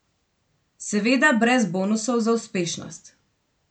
Seveda brez bonusov za uspešnost.